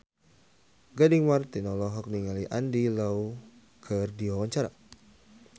Gading Marten olohok ningali Andy Lau keur diwawancara